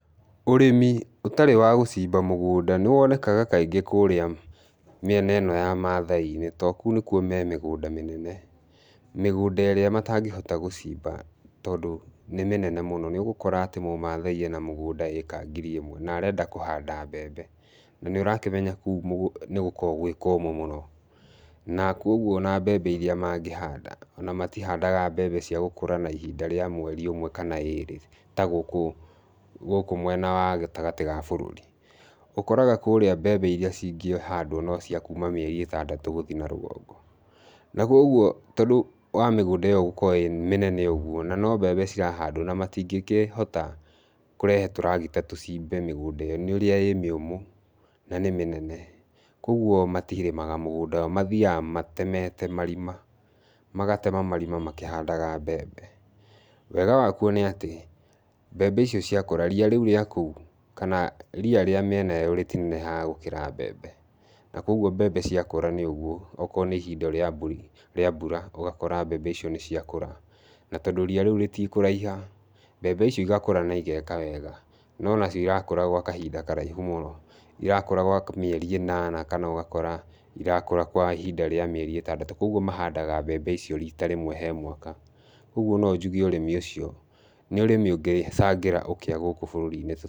Ũrĩmi ũtarĩ wa gũcimba mũgũnda nĩ wonekaga kaingĩ kũrĩa mĩena ĩno ya mathai-inĩ tondũ kũu nĩ kuo me mĩgũnda mĩnene, mĩgũnda ĩrĩa matangĩhota gũcimba tondũ nĩ mĩnene mũno, nĩ ũgũkora atĩ mũmathai ena mũgũnda ĩĩka ngiri ĩmwe na arenda kũhanda mbembe, na nĩ ũrakĩmenya kũu nĩ gũkoragwo gwĩ kũũmũ mũno, na koguo ona mbembe iria mangĩhanda, ona matihandaga mbembe cia gũkũra na ihinda rĩa mweri ũmwe kana ĩrĩ ta gũkũ gũkũ mwena wa gatagatĩ ga bũrũri. Ũkoraga kũũrĩa mbembe iria cingĩhandwo no cia kuuma mĩeri ĩtandatũ gũthiĩ na rũgongo. Naguo ũguo tondũ wa mĩgũnda ĩyo gũkorwo ĩ mĩnene ũguo, na no mbembe cirahandwo na matingĩkĩhota kũrehe tũragita tũcimbe mĩgũnda ĩyo, nĩũrĩa ĩ mĩũmũ na nĩ mĩnene, koguo matirĩmaga mũgũnda, mathiaga matemete marima, magatema marima makĩhandaga mbembe. Wega wa kuo nĩ atĩ, mbembe icio cia kũra, ria rĩu rĩa kũu kana ria rĩa mĩena ĩyo rĩtinenehaga gũkĩra mbembe, na koguo mbembe ciakũra nĩ ũguo, okorwo nĩ ihinda rĩa mbũri rĩa mbura ũgakora mbembe icio nĩ ciakũra, na tondũ ria rĩu rĩtikũraiha, mbembe icio igakũra na igeka wega, no nacio irakũra gwa kahinda karaihu mũno, irakũra gwa mĩeri ĩnana kana ũgakora irakũra gwa ihinda rĩa mĩeri ĩtandatũ, koguo mahandaga mbembe icio rita rĩmwe he mwaka, ũguo no njuge ũrĩmi ũcio nĩ ũrĩmi ũngĩcangĩra ũkĩa gũkũ bũrũri-inĩ.